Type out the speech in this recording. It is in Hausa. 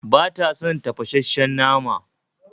Bata son tafasasshen nama